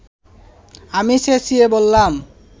আমি চেঁচিয়ে বললাম